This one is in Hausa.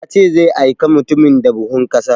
Ya ce zai aika mutumin da buhun ƙasa